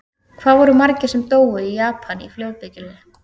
Hvað voru margir sem dóu í Japan í flóðbylgjunni?